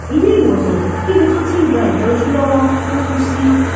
iléèwòsàn níbi tó ti ń gba ìtọjú lọwọ ló kù sí